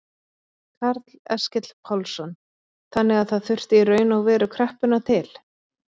Karl Eskil Pálsson: Þannig að það þurfti í raun og veru kreppuna til?